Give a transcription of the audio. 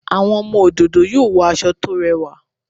Àwọn ọmọ òdòdó yóò wọ aṣọ tó rẹwà